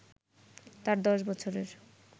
তার দশ বছরের